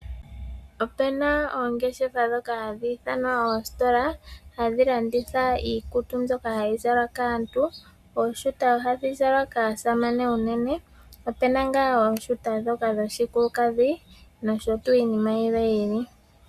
Opuna oongeshefa ndhoka hadhi ithanwa oositola hadhi landitha iikutu mbyoka hayi zalwa kaantu. Ooshuta ohadhi zalwa kaasamane unene. Opuna ngaa oshuta dhushikulukadhi noshi tuu inima yilwe yi ili.